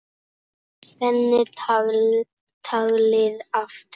Spenni taglið aftur.